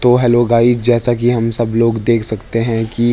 तो hello guys जैसा की हम सब लोग देख सकते हैं की --